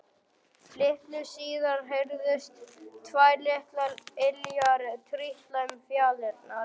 Litlu síðar heyrðust tvær litlar iljar trítla um fjalirnar.